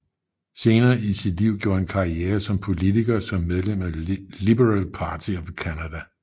Senere i sit liv gjorde han karriere som politiker som medlem af Liberal Party of Canada